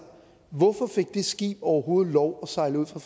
hvorfor fik det skib overhovedet lov at sejle ud fra